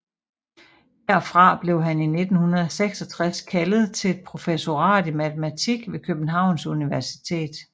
Herfra blev han i 1966 kaldet til et professorat i matematik ved Københavns Universitet